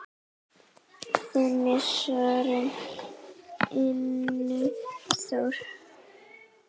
Þinn sonur, Ingi Þór.